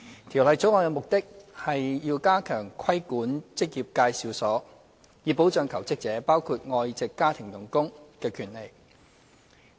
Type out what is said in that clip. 《條例草案》的目的是要加強規管職業介紹所，以保障求職者，包括外籍家庭傭工的權利。